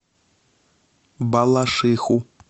балашиху